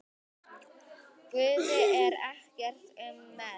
Guði er ekkert um megn.